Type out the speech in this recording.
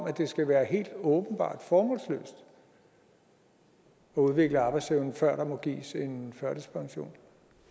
at det skal være helt åbenbart formålsløst at udvikle arbejdsevnen før der må gives en førtidspension